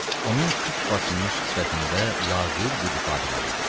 Onun tük basılmış sifətində laqeyd bir ifadə var idi.